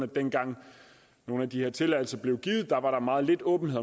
dengang nogle af de her tilladelser blev givet var der meget lidt åbenhed